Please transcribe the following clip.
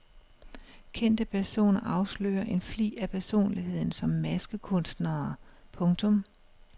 Kendte personer afslører en flig af personligheden som maskekunstnere. punktum